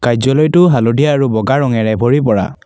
কাৰ্য্যালয়টো হালধীয়া আৰু বগা ৰঙেৰে ভৰি পৰা।